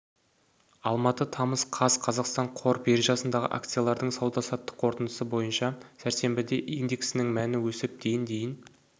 алматы тамыз қаз қазақстан қор биржасындағы акциялардың сауда-саттық қорытындысы бойынша сәрсенбіде индексінің мәні өсіп ден дейін